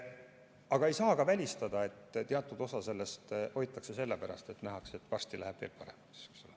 Aga ei saa ka välistada, et teatud osa neist hoitakse sellepärast, et nähakse, et varsti läheb veel paremaks.